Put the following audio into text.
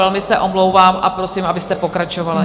Velmi se omlouvám a prosím, abyste pokračovala.